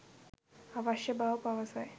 අවශ්‍ය බව පවසයි